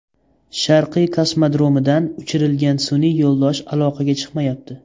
Sharqiy kosmodromidan uchirilgan sun’iy yo‘ldosh aloqaga chiqmayapti.